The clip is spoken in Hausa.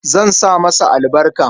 Zan sa masa albarka.